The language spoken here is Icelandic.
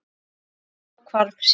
En þá hvarf síldin.